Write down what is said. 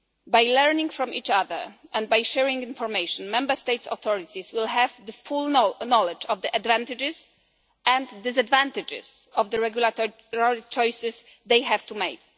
By learning from each other and by sharing information, Member States' authorities will have the full knowledge of the advantages and disadvantages of the regulatory choices they have to make.